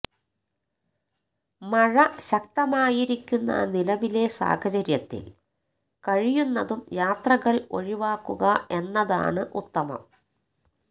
മഴ ശക്തമായിരിക്കുന്ന നിലവിലെ സാഹചര്യത്തില് കഴിയുന്നതും യാത്രകള് ഒഴിവാക്കുക എന്നതാണ് ഉത്തമം